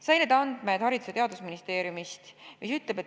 Sain need andmed Haridus- ja Teadusministeeriumist.